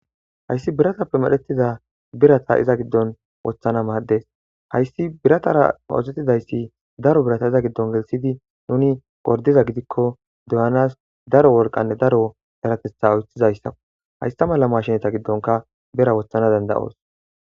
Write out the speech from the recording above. Hayssi biratappe medhetida biratta iza gidon woththanas madess hayss biratara oththetidayss daro birata iza gidon woththid nuni gordiza gidikko doyianas daro wolqanne daro payateththa oychizayssakko hayssa mala mashshineta gidon bira woththanas dandayos